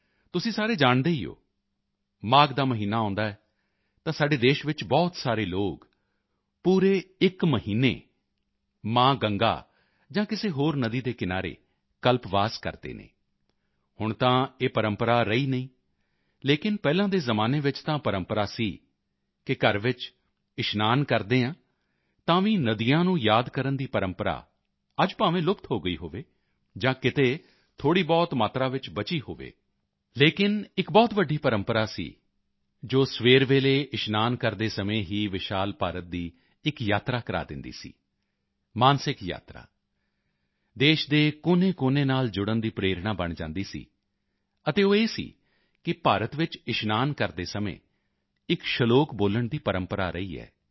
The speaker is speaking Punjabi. ਤੁਸੀਂ ਸਾਰੇ ਜਾਣਦੇ ਹੀ ਹੋ ਮਾਘ ਦਾ ਮਹੀਨਾ ਆਉਂਦਾ ਹੈ ਤਾਂ ਸਾਡੇ ਦੇਸ਼ ਵਿੱਚ ਬਹੁਤ ਸਾਰੇ ਲੋਕ ਪੂਰੇ ਇੱਕ ਮਹੀਨੇ ਮਾਂ ਗੰਗਾ ਜਾਂ ਕਿਸੇ ਹੋਰ ਨਦੀ ਦੇ ਕਿਨਾਰੇ ਕਲਪਵਾਸ ਕਰਦੇ ਹਨ ਹੁਣ ਤਾਂ ਇਹ ਪਰੰਪਰਾ ਰਹੀ ਨਹੀਂ ਲੇਕਿਨ ਪਹਿਲਾਂ ਦੇ ਜ਼ਮਾਨੇ ਵਿੱਚ ਤਾਂ ਪਰੰਪਰਾ ਸੀ ਕਿ ਘਰ ਵਿੱਚ ਇਸ਼ਨਾਨ ਕਰਦੇ ਹਾਂ ਤਾਂ ਵੀ ਨਦੀਆਂ ਨੂੰ ਯਾਦ ਕਰਨ ਦੀ ਪਰੰਪਰਾ ਅੱਜ ਭਾਵੇਂ ਲੁਪਤ ਹੋ ਗਈ ਹੋਵੇ ਜਾਂ ਕਿਤੇ ਥੋੜ੍ਹੀਬਹੁਤ ਮਾਤਰਾ ਵਿੱਚ ਬਚੀ ਹੋਵੇ ਲੇਕਿਨ ਇੱਕ ਬਹੁਤ ਵੱਡੀ ਪਰੰਪਰਾ ਸੀ ਜੋ ਸਵੇਰ ਵੇਲੇ ਇਸ਼ਨਾਨ ਕਰਦੇ ਸਮੇਂ ਹੀ ਵਿਸ਼ਾਲ ਭਾਰਤ ਦੀ ਇੱਕ ਯਾਤਰਾ ਕਰਾ ਦਿੰਦੀ ਸੀ ਮਾਨਸਿਕ ਯਾਤਰਾ ਦੇਸ਼ ਦੇ ਕੋਨੇਕੋਨੇ ਨਾਲ ਜੁੜਨ ਦੀ ਪ੍ਰੇਰਣਾ ਬਣ ਜਾਂਦੀ ਸੀ ਅਤੇ ਉਹ ਇਹ ਸੀ ਕਿ ਭਾਰਤ ਵਿੱਚ ਇਸ਼ਨਾਨ ਕਰਦੇ ਸਮੇਂ ਇੱਕ ਸ਼ਲੋਕ ਬੋਲਣ ਦੀ ਪਰੰਪਰਾ ਰਹੀ ਹੈ